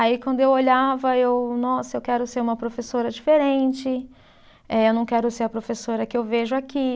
Aí quando eu olhava, eu, nossa, eu quero ser uma professora diferente, eh eu não quero ser a professora que eu vejo aqui.